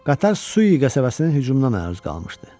Qatar Su qəsəbəsinin hücumuna məruz qalmışdı.